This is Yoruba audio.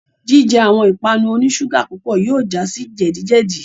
Jijẹ awọn ipanu oni ṣuga pupọ yóò ja si jẹdi-jẹdi